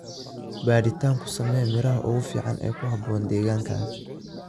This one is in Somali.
Baadhitaan ku samee miraha ugu fiican ee ku habboon deegaankaaga.